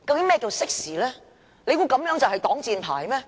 難道這就能成為擋箭牌嗎？